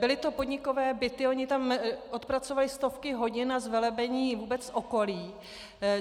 Byly to podnikové byty, oni tam odpracovali stovky hodin na zvelebení vůbec okolí.